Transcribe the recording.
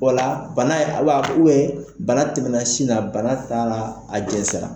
O la , bana a bɛ ka ko bana tɛmɛna sin na, bana taara a jɛnsɛra